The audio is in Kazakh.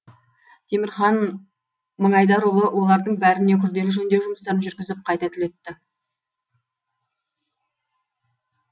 темірхан мыңайдарұлы олардың бәріне күрделі жөндеу жұмыстарын жүргізіп қайта түлетті